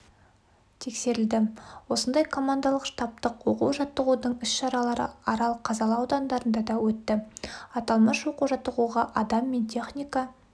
тексерілді осындай командалық-штабтық оқу-жаттығудың іс-шаралары арал казалы аудандарында да өтті аталмыш оқу-жаттығуға адам мен техника